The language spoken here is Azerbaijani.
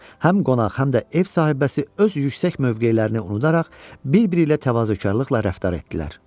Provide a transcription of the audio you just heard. Həm qonaq, həm də ev sahibəsi öz yüksək mövqelərini unudaraq bir-biri ilə təvazökarlıqla rəftar etdilər.